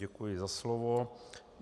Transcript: Děkuji za slovo.